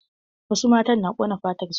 Wasu matan na ƙona fatar su.